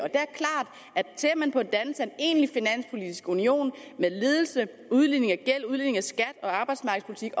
ser man på dannelsen af en egentlig finanspolitisk union med ledelse udligning af gæld udligning af skat og arbejdsmarkedspolitik